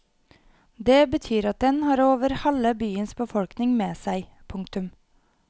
Det betyr at den har over halve byens befolkning med seg. punktum